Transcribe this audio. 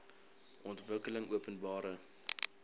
ontwikkelingopenbare